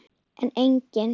en einnig